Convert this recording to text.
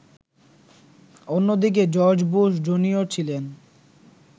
অন্যদিকে George Bush junior ছিলেন